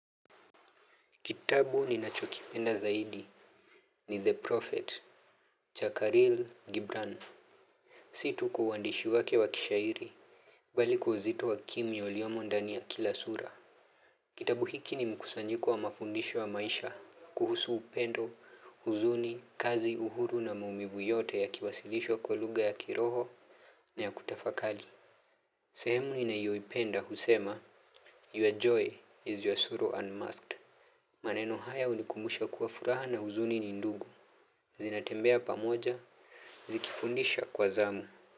Kitabu ninachokipenda zaidi ni The Prophet, Chakaril Gibran. Si tu kwa uandishi wake wa kishairi, bali kwa uzito wa kimya uliomo ndani ya kila sura. Kitabu hiki ni mkusanyiko wa mafundisho wa maisha, kuhusu upendo, huzuni, kazi, uhuru na maumivu yote yakiwasilishwa kwa lugha ya kiroho na ya kutafakali. Sehemu ninayoipenda husema, your joy is your suru unmasked. Maneno haya unikumbusha kuwa furaha na uzuni ni ndugu. Zinatembea pamoja, zikifundisha kwa zamu.